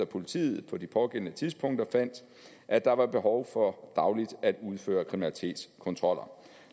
politiet på de pågældende tidspunkter fandt at der var behov for dagligt at udføre kriminalitetskontroller